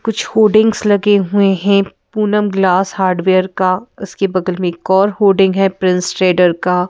कुछ होडिंग्स लगे हुए हैं पूनम ग्लास हार्डवेयर का उसके बगल में एक और होडिंग है प्रिंस ट्रेडर का--